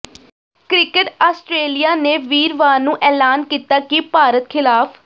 cricket Australia ਨੇ ਵੀਰਵਾਰ ਨੂੰ ਐਲਾਨ ਕੀਤਾ ਕਿ ਭਾਰਤ ਖਿਲਾਫ